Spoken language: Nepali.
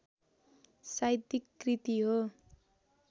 साहित्यिक कृति हो